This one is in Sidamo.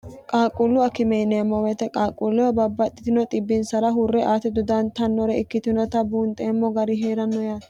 qaaqquullu akimeeniyemmomete qaaqquulleho babbaxxitino xibbinsara hurre aate dodantannore ikkitinota buunxeemmo gari hee'ranno yaati